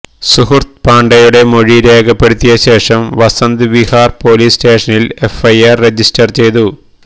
സുഹൃത്ത് പാണ്ഡെയുടെ മൊഴി രേഖപ്പെടുത്തിയ ശേഷം വസന്ത് വിഹാർ പൊലീസ് സ്റ്റേഷനിൽ എഫ്ഐആർ രജിസ്റ്റർ ചെയ്തു